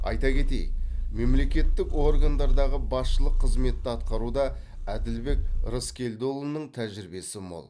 айта кетейік мемлекеттік органдардағы басшылық қызметті атқаруда әділбек рыскелдіұлының тәжірибесі мол